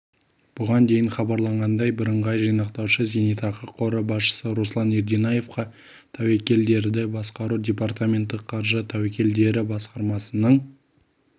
бұған дейін хабарланғандай бірыңғай жинақтаушы зейнетақы қоры басшысы руслан ерденаевқа тәуекелдерді басқару департаменті қаржы тәуекелдері басқармасының